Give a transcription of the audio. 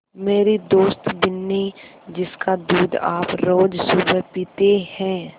मेरी दोस्त बिन्नी जिसका दूध आप रोज़ सुबह पीते हैं